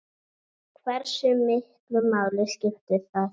Hversu miklu máli skiptir það?